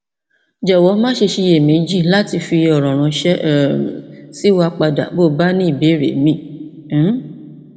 jọwọ maṣe ṣiyemeji lati fi ọrọ ránṣẹ um sí wa padà bí o bá ní ìbéèrè míràn um